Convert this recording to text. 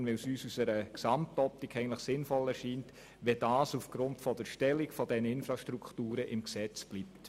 Vielmehr lehnen wir sie ab, weil es uns aus einer Gesamtoptik sinnvoll erscheint, dass das aufgrund der Wichtigkeit dieser Infrastrukturen im Gesetz bleibt.